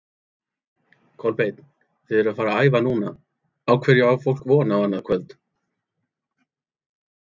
Kolbeinn, þið eruð að æfa núna, á hverju á fólk von á annað kvöld?